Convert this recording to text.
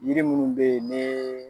Yiri munnu be ye ne